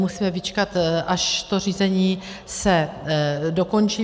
Musíme vyčkat, až to řízení se dokončí.